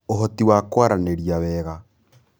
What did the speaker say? Ũhoti wa kwaranĩria wega: